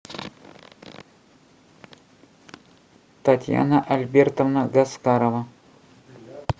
татьяна альбертовна гаскарова